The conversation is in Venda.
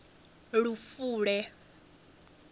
lufule